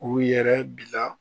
K'u yɛrɛ bila